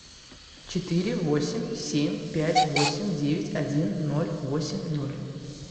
четыре восемь семь пять восемь девять один ноль восемь ноль